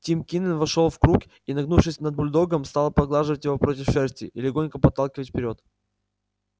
тим кинен вошёл в круг и нагнувшись над бульдогом стал поглаживать его против шерсти и легонько подталкивать вперёд